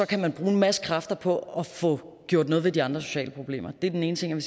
kan man bruge en masse kræfter på at få gjort noget ved de andre sociale problemer det er den ene ting jeg